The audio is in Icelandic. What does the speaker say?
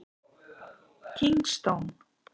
Kingston